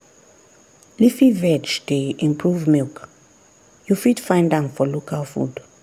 leafy veg dey improve milk you fit find am for local food.